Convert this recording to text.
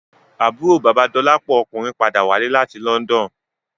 Àbúrò bàba Dolapo ọkùnrin padà wálé láti London